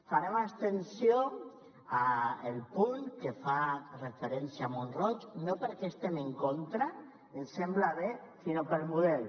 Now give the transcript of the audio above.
farem abstenció al punt que fa referència a mont roig no perquè hi estem en contra ens sembla bé sinó pel model